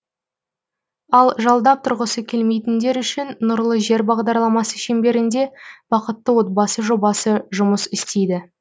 ал жалдап тұрғысы келмейтіндер үшін нұрлы жер бағдарламасы шеңберінде бақытты отбасы жобасы жұмыс істейді